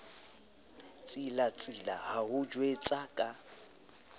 tsilatsila ho o jwetsa ka